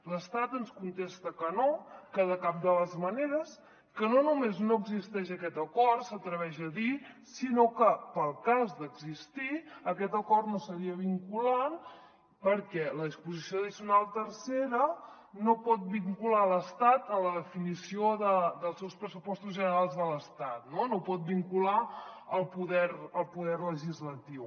l’estat ens contesta que no que de cap de les maneres que no només no existeix aquest acord s’atreveix a dir sinó que per al cas d’existir aquest acord no seria vinculant perquè la disposició addicional tercera no pot vincular l’estat en la definició dels seus pressupostos generals de l’estat no no pot vincular el poder legislatiu